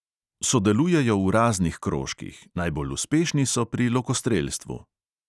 Sodelujejo v raznih krožkih, najbolj uspešni so pri lokostrelstvu.